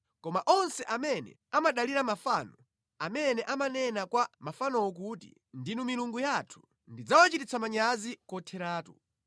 Koma onse amene amadalira mafano amene amanena kwa mafanowo kuti, ‘ndinu milungu yathu,’ ndidzawachititsa manyazi kotheratu.